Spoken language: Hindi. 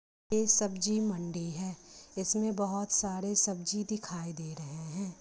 ये सब्जी मंडी है इसमे बहुत सारे सब्जी दिखाई दे रहे है।